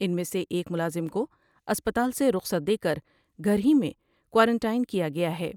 ان میں سے ایک ملازم کو اسپتال سے رخصت دے کر گھر ہی میں کوارٹائن کیا گیا ہے ۔